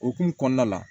Okumu kɔnɔna la